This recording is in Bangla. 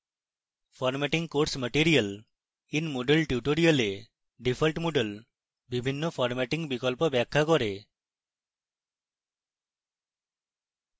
formatting course material in moodle tutorial default moodle বিভিন্ন formatting বিকল্প ব্যাখ্যা করে